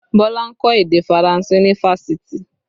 Bọlá ń kọ́ èdè Faranse ní Fáṣítì